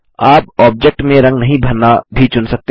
आप ऑब्जेक्ट में रंग नहीं भरना भी चुन सकते हैं